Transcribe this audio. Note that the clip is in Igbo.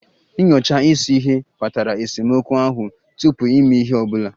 Nyochaa isi ihe kpatara esemokwu ahụ tupu ịme ihe ọ bụla